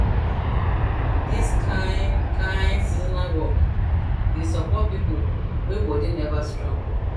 this kind kind seasonal work dey support people wey body never strong